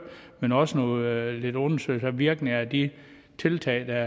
men også nogle undersøgelser af virkningerne af de tiltag der